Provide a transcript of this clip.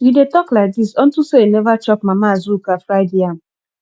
you dey talk like dis unto say you never chop mama azuka fried yam